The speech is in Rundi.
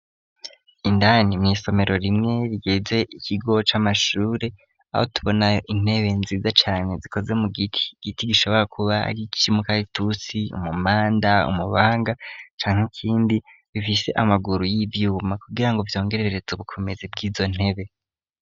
Indani mw'isomero rimwe rigeze ikigo c'amashure, aho tubona intebe nziza cane zikoze mu giti, igiti gishobora kuba ari ic'umukaritusi, umumanda, umubanga, canke ikindi, bifise amaguru y'ivyuma kugirango vyongerereze ubukomezi bw'izo ntebe.